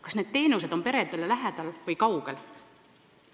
Kas need teenused on peredele lähedal või kaugel?